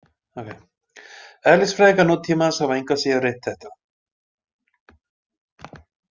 Eðlisfræðingar nútímans hafa engu að síður reynt þetta.